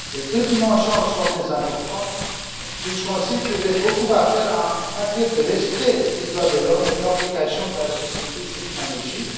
Les deux dimensions sont très importantes, puisqu'on sait qu'il reste beaucoup à faire en matière de respect des droits de l'homme et de participation de la société civile en Égypte.